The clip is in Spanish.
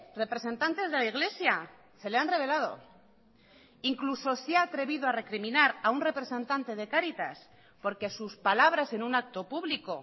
representantes de la iglesia se le han revelado incluso se ha atrevido a recriminar a un representante de cáritas porque sus palabras en un acto público